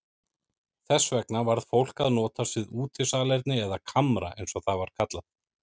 Þess vegna varð fólk að notast við útisalerni eða kamra eins og það var kallað.